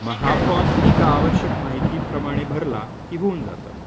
मग हा फॉर्म एखाद्या आवश्यक माहितीप्रमाणे भरला की होऊन जातं.